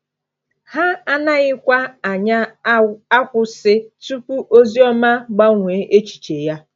Ha anaghịkwa anya akwụsị tupu Ozioma gbanwee echiche ya.